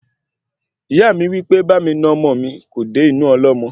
Ìyá mi wípé bámi nà ọmọ mí kò dé inú ọlọ́mọ